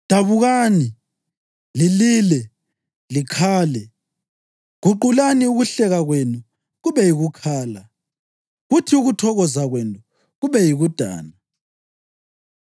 Dabukani, lilile, likhale. Guqulani ukuhleka kwenu kube yikukhala, kuthi ukuthokoza kwenu kube yikudana.